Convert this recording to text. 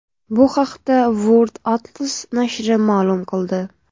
Bu haqda World Atlas nashri ma’lum qildi .